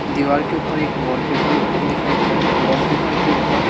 दीवार के ऊपर एक वॉलपेपर दिखाइ दे रहा है वॉलपेपर के ऊपर--